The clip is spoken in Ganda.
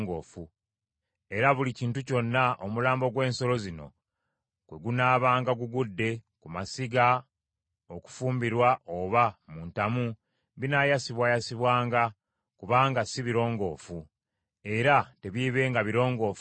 Era buli kintu kyonna omulambo gw’ensolo zino kwe gunaabanga gugudde ku masiga okufumbirwa oba mu ntamu, binaayasibwayasibwanga, kubanga si birongoofu; era tebiibenga birongoofu gye muli.